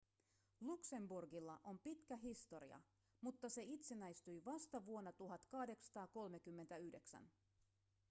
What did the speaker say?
luxemburgilla on pitkä historia mutta se itsenäistyi vasta vuonna 1839